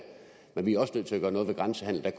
men vi er også nødt til at gøre noget ved grænsehandelen